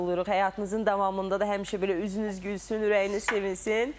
Həyatınızın davamında da həmişə belə üzünüz gülsün, ürəyiniz sevinsin.